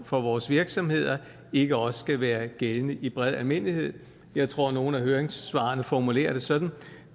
for vores virksomheder ikke også skal være gældende i bred almindelighed jeg tror at nogle af høringssvarene formulerer det sådan at